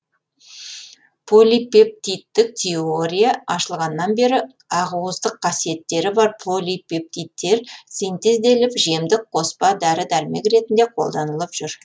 полипептидтік теория ашылғаннан бері ақуыздық қасиеттері бар полипептидтер синтезделіп жемдік қоспа дәрі дәрмек ретінде қолданылып жүр